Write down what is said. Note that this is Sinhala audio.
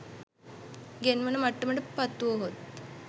ගෙන්වන මට්ටමට පත්වුවහොත්